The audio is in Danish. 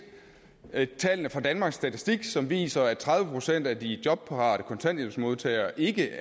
tallene fra danmarks statistik som viser at tredive procent af de jobparate kontanthjælpsmodtagere ikke